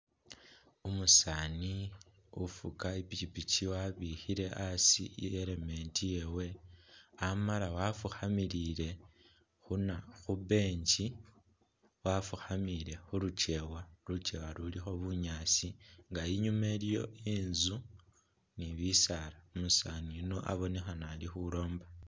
Umusaani ufuga i'pikipiki wabikhile asi i'helmet yewe amala Wafukhamile khuna khu bench, wafukhamile khu lukyewa, lukyewa lulikho bunyaasi nga inyuma iliwo inzu ni bisaala. Umusaani yuno abonekhana ali khulomba.